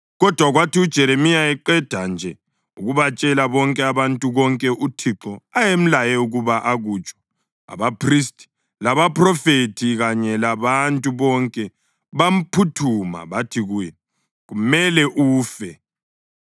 Kodwa kwathi uJeremiya eqeda nje ukubatshela bonke abantu konke uThixo ayemlaye ukuba akutsho, abaphristi, labaphrofethi kanye labantu bonke bamphuthuma bathi kuye, “Kumele ufe!